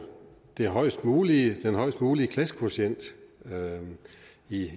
den højest mulige højest mulige klassekvotient i